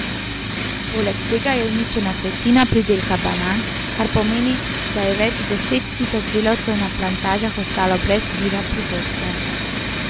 Poleg tega je uničena tretjina pridelka banan, kar pomeni, da je več deset tisoč delavcev na plantažah ostalo brez vira prihodka.